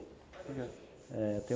Por quê? É